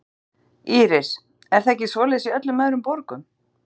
Íris: Er það ekki svoleiðis í öllum öðrum borgum?